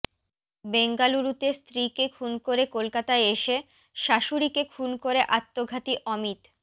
বেঙ্গালুরুতে স্ত্রীকে খুন করে কলকাতায় এসে শাশুড়িকে খুন করে আত্মঘাতী অমিত